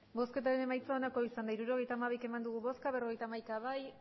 hirurogeita hamabi eman dugu bozka berrogeita hamaika bai